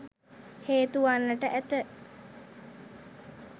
හේතුවන්නට ඇත.